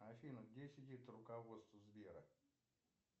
афина где сидит руководство сбера